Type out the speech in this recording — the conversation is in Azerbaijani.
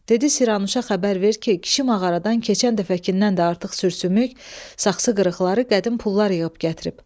Dedi Siranuşa xəbər ver ki, kişi mağaradan keçən dəfəkindən də artıq sürsümük, saxsı qırıqları, qədim pullar yığıb gətirib.